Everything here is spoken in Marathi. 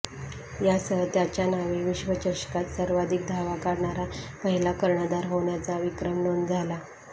यासह त्याच्या नावे विश्वचषकात सर्वाधिक धावा काढणारा पहिला कर्णधार हाेण्याचा विक्रम नाेंद झाला